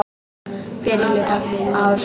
Fyrri hluta árs.